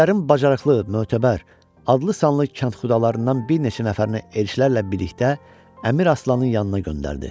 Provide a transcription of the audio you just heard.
Ellərin bacarıqlı, mötəbər, adlı-sanlı kəndxudalarından bir neçə nəfərini elçilərlə birlikdə Əmir Aslanın yanına göndərdi.